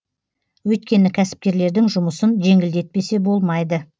өйткені кәсіпкерлердің жұмысын жеңілдетпесе болмайды